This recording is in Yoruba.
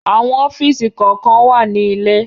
Àwọn ọ́fìsì kọ̀ọ̀kan wà ní ilé